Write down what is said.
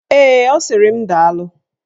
Ee, ọ sịrị m daalụ.